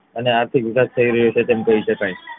અને આર્થિક વિકાસ થઇ રહ્યો છે તેમ કહી શકાય